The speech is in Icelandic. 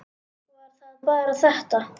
Var það bara þetta?